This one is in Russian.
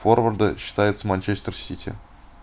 форварды считается манчестер сити